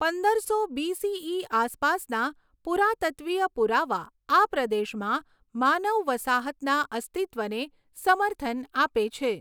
પંદરસો બીસીઈ આસપાસના પુરાતત્ત્વીય પુરાવા આ પ્રદેશમાં માનવ વસાહતના અસ્તિત્વને સમર્થન આપે છે.